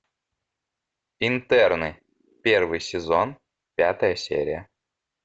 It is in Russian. интерны первый сезон пятая серия